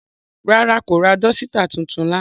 Rara, ko ra dọsitạ titun lana.